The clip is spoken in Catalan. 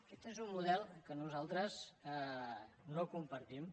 aquest és un model que nosaltres no compartim